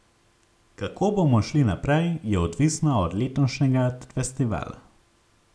Kako bomo šli naprej, je odvisno od letošnjega festivala.